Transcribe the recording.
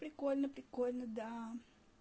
прикольно прикольно да